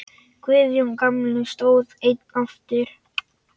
Guðjón gamli stóð einn eftir.